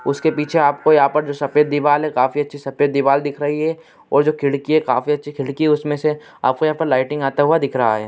उसके पीछे आपको यहाँ पे जो सफेद दीवाल है काफी अच्छी सफेद दीवाल दिख रही है और जो खिड़की है काफी अच्छी खिड़की है। उसमे से आपको यहां पर लाइटिंग आता हुआ दिख रहा है।